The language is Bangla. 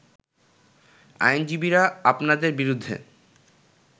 আইনজীবীরা আপনাদের বিরেুদ্ধে